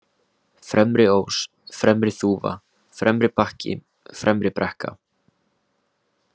Fremri-Ós, Fremri-Þúfa, Fremribakki, Fremribrekka